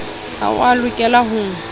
ha o a lokela ho